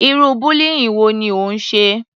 Irú bullying wo ni ó ń ṣe?